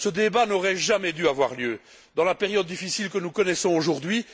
Ce débat n'aurait jamais dû avoir lieu dans la période difficile que nous connaissons aujourd'hui.